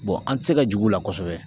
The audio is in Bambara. an ti se ka jigi u la kosɛbɛ.